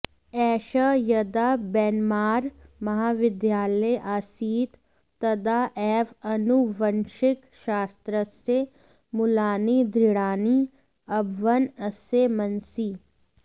एषः यदा ब्रैन्मार् महाविद्यालये आसीत् तदा एव आनुवंशिकशास्त्रस्य मूलानि दृढानि अभवन् अस्य मनसि